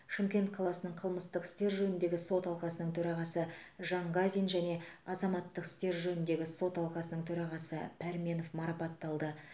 шымкент қаласының қылмыстық істер жөніндегі сот алқасының төрағасы жанғазин және азаматтық істер жөніндегі сот алқасының төрағасы пәрменов марапатталды